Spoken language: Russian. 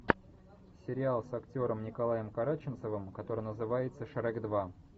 сериал с актером николаем караченцовым который называется шрек два